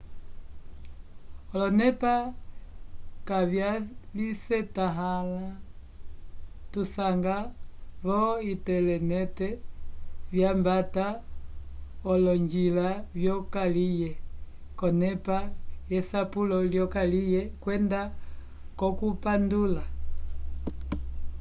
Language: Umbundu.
olonepa kavyalisetãhala tusanga vo-intelenete vyambata k'olonjila vyokaliye k'onepa yesapulo lyokaliye kwenda k'okupandula